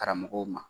Karamɔgɔw ma